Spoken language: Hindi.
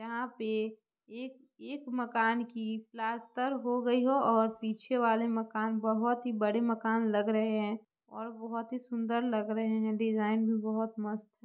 यहाँ पे एक एक मकान की प्लास्टर हो गई हो और पीछे वाले मकान बहुत ही बड़े मकान लग रहे है और बहुत ही सुन्दर लग रहे है डिज़ाइन भी बहुत मस्त---